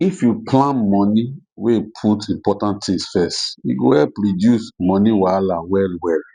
if you plan money wey put important things first e go help reduce money wahala well well